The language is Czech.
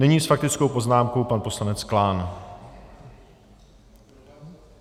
Nyní s faktickou poznámkou pan poslanec Klán.